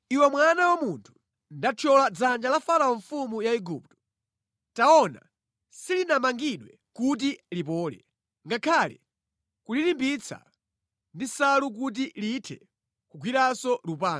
“Iwe mwana wa munthu, ndathyola dzanja la Farao mfumu ya Igupto. Taona, silinamangidwe kuti lipole, ngakhale kulilimbitsa ndi nsalu kuti lithe kugwiranso lupanga.